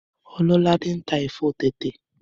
Ọlọ́ládé ń tà ẹ̀fọ́ tẹ̀tẹ̀